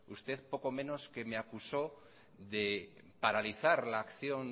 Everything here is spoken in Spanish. usted poco menos que me acusó de paralizar la acción